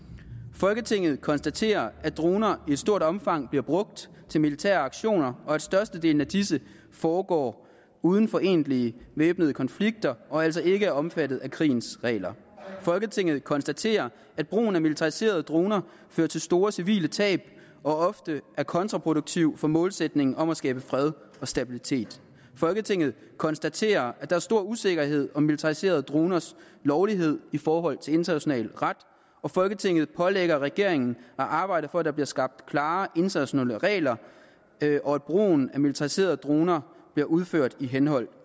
folketinget konstaterer at droner i stort omfang bliver brugt til militære aktioner og at størstedelen af disse foregår uden for egentlige væbnede konflikter og altså ikke er omfattet af krigens regler folketinget konstaterer at brugen af militariserede droner fører til store civile tab og ofte er kontraproduktiv for målsætningen om at skabe fred og stabilitet folketinget konstaterer at der er stor usikkerhed om militariserede droners lovlighed i forhold til international ret folketinget pålægger regeringen at arbejde for at der bliver skabt klare internationale regler og at brugen af militariserede droner bliver udført i henhold